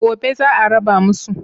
Gobe za a raba musu.